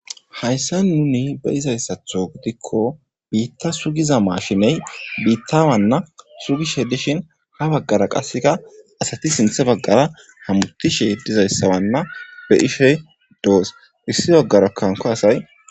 hayssa nuni be izayssatho gidikko biitta sugiza maashiney biittawanna sugishe dishin ha baggara qasseka asati sinthe baggara hamutishe dizayssawanna be ishey doos issi baggarakanko asay